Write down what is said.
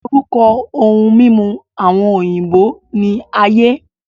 Orúkọ ohun mímu àwọn òyìnbó ní aye